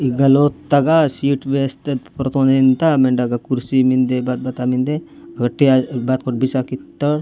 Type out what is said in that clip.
इगलोत तगा सीट वैस्थ ततोरबेंता मेड़ा क करूसी मिन्दे बात बता मिन्दे घ तिया बास कोर बिसा कित्ता --.